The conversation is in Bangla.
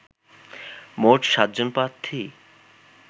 মোট ৭ জন প্রার্থী